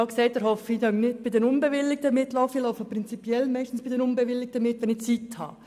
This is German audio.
Ich gehe meistens bei unbewilligten Kundgebungen mit, wenn ich Zeit habe.